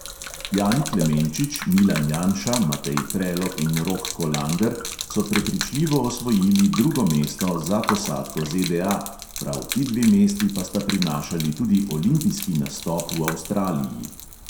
Jani klemenčič, milan janša, matej prelog in rok kolander so prepričljivo osvojili drugo mesto za posadko ZDA, prav ti dve mesti pa sta prinašali tudi olimpijski nastop v avstraliji.